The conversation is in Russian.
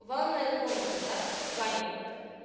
ванная комната да ваня